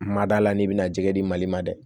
Mada la n'i bɛna jɛgɛ di mali ma dɛ